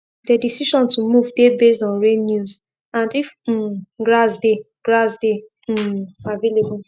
the decision to move dey based on rain news and if um grass dey grass dey um avaliable